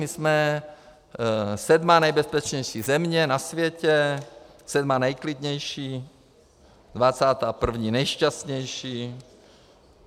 My jsme sedmá nejbezpečnější země na světě, sedmá nejklidnější, dvacátá první nejšťastnější.